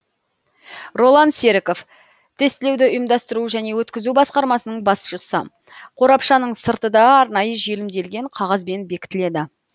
роллан серіков тестілеуді ұйымдастыру және өткізу басқармасының басшысы қорапшаның сырты да арнайы желімделген қағазбен бекітіледі